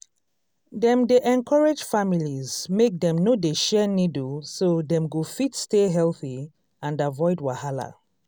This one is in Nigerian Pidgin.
dem dey encourage families make dem no dey share needle so dem go fit stay healthy and avoid wahala